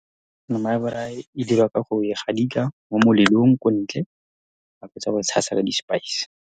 Nama ya braai e dirwa ka go e gadika mo molelong, kwa ntle ha o fetsa tshasa ka di-spice.